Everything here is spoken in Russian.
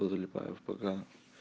позалипаю в пк